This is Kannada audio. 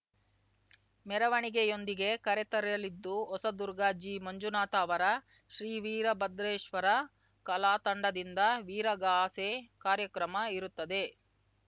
ಮೆರವಣಿಗೆಯೊಂದಿಗೆ ಕರೆತರಲಿದ್ದು ಹೊಸದುರ್ಗ ಜಿ ಮಂಜುನಾಥ ಅವರ ಶ್ರೀವೀರಭದ್ರೇಶ್ವರ ಕಲಾತಂಡದಿಂದ ವೀರಗಾಸೆ ಕಾರ್ಯಕ್ರಮ ಇರುತ್ತದೆ